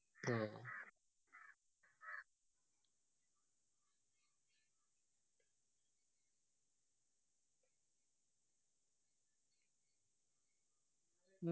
ആ